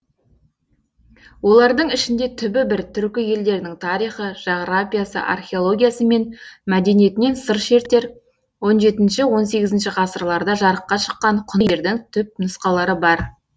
олардың ішінде түбі бір түркі елдерінің тарихы жағрапиясы археологиясы мен мәдениетінен сыр шертер он жетінші он сегізінші ғасырларда жарыққа шыққан құнды еңбектердің түпнұсқалары бар